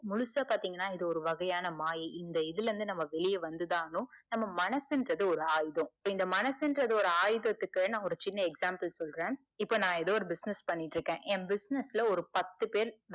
முழுசா பாத்திங்கனா இது ஒரு வகையான மாயை இந்த இதுலருந்து நாம்ம வெளிய வந்துதான் ஆகணும். நம்ம மனசுன்றது ஒரு ஆயுதம். இந்த மனசுன்றது ஒரு ஆயுதத்துக்கு நா ஒரு சின்ன example சொல்ற இப்ப நா எதோ ஒரு business பண்ணிட்டு இருக்கேன். என் business ல ஒரு பத்து பேர்